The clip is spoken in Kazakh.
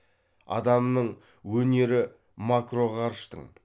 адамның өнері макроғарыштың